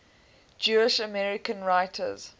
jewish american writers